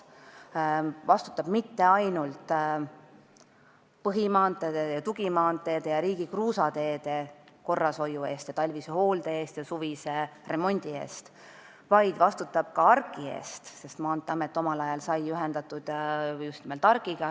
Ta vastutab mitte ainult põhimaanteede, tugimaanteede ja riigi kruusateede korrashoiu, talvise hoolde ja suvise remondi eest, vaid ka ARK-i eest, sest Maanteeamet omal ajal sai ühendatud just nimelt ARK-iga.